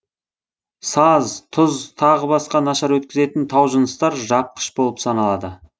саз тұз тағы басқа нашар өткізетін таужыныстар жапқыш болып саналады